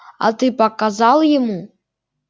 а ты показал ему